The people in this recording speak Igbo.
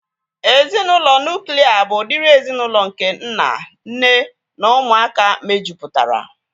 Ezinaụlọ nuklia bụ udiri ezinaụlọ nke nna, nne na ụmụaka mejupụtara